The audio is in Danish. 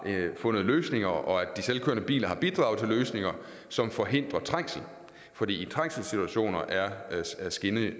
fundet løsninger og at de selvkørende biler har bidraget til løsninger som forhindrer trængsel for i trængselssituationer er er skinner